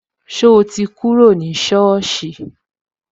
So ti kúrò ní soosi